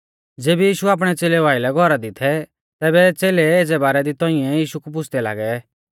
ज़ेबी यीशु आपणै च़ेलेउ आइलै घौरा दी थै तैबै च़ेलै एज़ै बारै दी तौंइऐ यीशु कु पुछ़दै लागै